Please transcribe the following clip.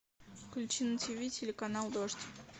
включи на тв телеканал дождь